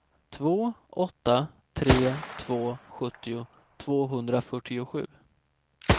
två åtta tre två sjuttio tvåhundrafyrtiosju